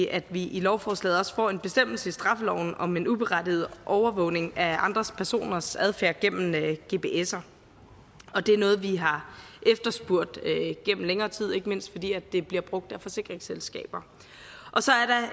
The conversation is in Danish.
at vi i lovforslaget også får en bestemmelse i straffeloven om en uberettiget overvågning af andre personers adfærd gennem gpser det er noget vi har efterspurgt gennem længere tid ikke mindst fordi det bliver brugt af forsikringsselskaber så